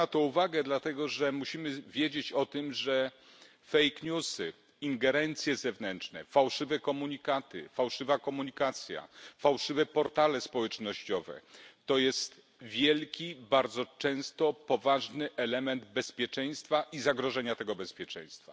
Zwracam na to uwagę dlatego, że musimy wiedzieć, iż fake newsy, ingerencje zewnętrzne, fałszywe komunikaty, fałszywa komunikacja, fałszywe portale społecznościowe są wielkim, bardzo często poważnym elementem bezpieczeństwa i zagrożenia bezpieczeństwa.